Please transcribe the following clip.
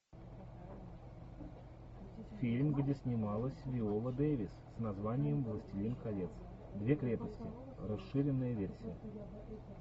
фильм где снималась виола дэвис с названием властелин колец две крепости расширенная версия